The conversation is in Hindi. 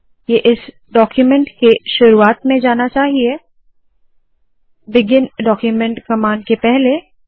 ये इस डाक्यूमेन्ट के शुरुवात में जाना चाहिए बिगिन डाक्यूमेन्ट कमांड के पहले